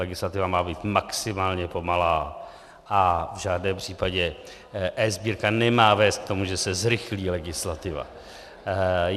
Legislativa má být maximálně pomalá a v žádném případě eSbírka nemá vést k tomu, že se zrychlí legislativa.